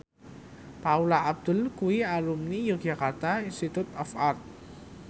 Paula Abdul kuwi alumni Yogyakarta Institute of Art